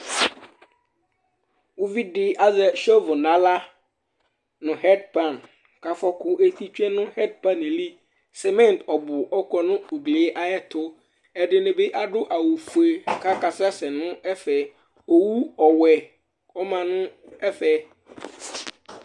Uvidɩ azɛ sevo nʋ aɣla nʋ ɛdpan kʋ afɔkʋ eti tsue nʋ ɛdpan yɛ li, semɛn ɔbʋ ɔkɔ nʋ ugli yɛ ayʋ ɛtʋ, ɛdɩnɩ bɩ adʋ awʋ fue kʋ akasɛsɛ nʋ ɛfɛ, owu ɔwɛ ɔma nʋ ɛfɛ